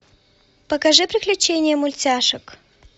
покажи приключения мультяшек